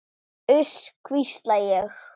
Uss, hvísla ég.